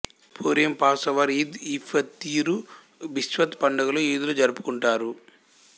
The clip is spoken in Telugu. పూరిం పాసోవర్ ఈద్ ఇ ఫతిర్ తూ బీష్వత్ పండుగలను యూదులు జరుపుకుంటారు